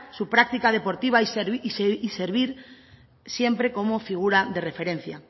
su práctica deportiva y servir siempre como figura de referencia